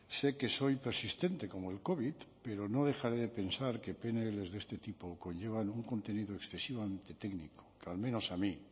sé que soy persistente como el covid pero no dejaré de pensar que pnl de este tipo conllevan un contenido excesivamente técnico que al menos a mí